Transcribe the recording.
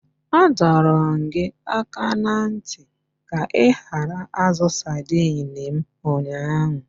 Adọọrọ m gị aka na ntị ka ị gbanarị azu saidini m ụnyaahụ!